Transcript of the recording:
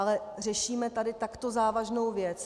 Ale řešíme tady takto závažnou věc.